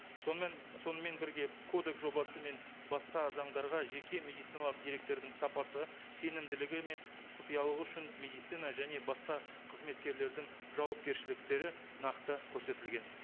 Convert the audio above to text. сонымен сонымен бірге кодекс жобасы мен басқа заңдарға жеке медициналық деректердің сапасы сенімділігі мен құпиялығы үшін медицина және басқа қызметкерлердің жауапкершіліктері нақты көрсетілген